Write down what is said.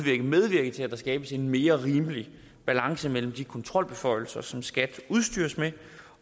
medvirke til at der skabes en mere rimelig balance mellem de kontrolbeføjelser som skat udstyres med